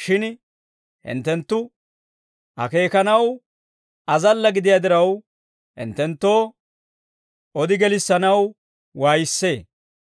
shin hinttenttu akeekanaw azalla gidiyaa diraw, hinttenttoo odi gelissanaw waayissee.